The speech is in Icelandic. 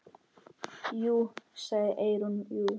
Jú, sagði Eyrún, jú.